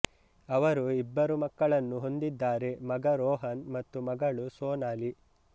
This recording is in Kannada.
ಅವರು ಇಬ್ಬರು ಮಕ್ಕಳನ್ನು ಹೊಂದಿದ್ದಾರೆ ಮಗ ರೋಹನ್ ಹಾಗೂ ಮಗಳು ಸೊನಾಲಿ